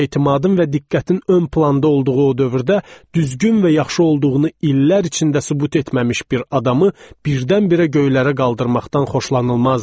Etimadın və diqqətin ön planda olduğu o dövrdə düzgün və yaxşı olduğunu illər içində sübut etməmiş bir adamı birdən-birə göylərə qaldırmaqdan xoşlanılmazdı.